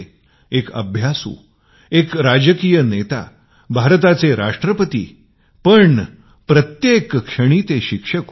एक अभ्यासू एक राजनैतिक भारताचे राष्ट्रपती पण प्रत्येक क्षणी ते शिक्षक होते